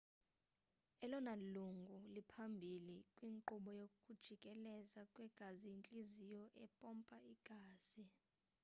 elona lungu liphambili kwinkqubo yokujikeleza kwegazi yintliziyo empompa igazi